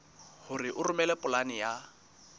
hore o romele polane ya